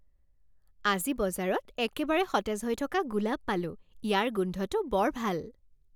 আজি বজাৰত একেবাৰে সতেজ হৈ থকা গোলাপ পালোঁ। ইয়াৰ গোন্ধটো বৰ ভাল।